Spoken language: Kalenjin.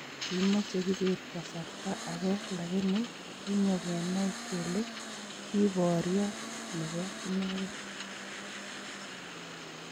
Kimoche Kibet kasrta ageei lagini kinyongenai kele kiboryot nebo inengen.